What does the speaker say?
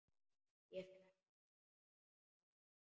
Ég fer ekki aftur.